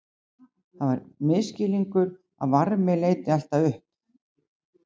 Það er misskilningur að varmi leiti alltaf upp.